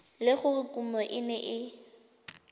le gore kumo e ne